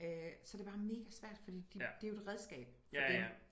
Så er det bare mega svært fordi det er jo et redskab for dem